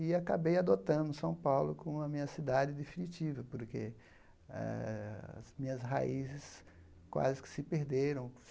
E acabei adotando São Paulo como a minha cidade definitiva, porque eh as minhas raízes quase que se perderam.